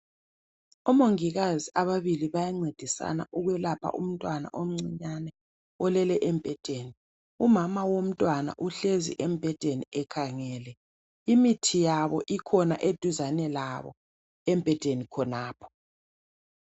Omongikazi ababili bayancedisana ukwelapha umntwana omncinyane olele embhedeni. Umama womntwana uhlezi embhedeni ekhangele. Imithi yabo ikhona eduzane labo embhedeni khonapho .